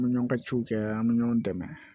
An bɛ ɲɔn ka ciw kɛ an bɛ ɲɔgɔn dɛmɛ